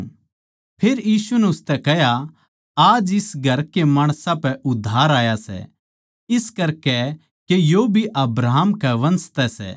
फेर यीशु नै उसतै कह्या आज इस घर के माणसां पै उद्धार आया सै इस करकै के यो भी अब्राहम के वंश तै सै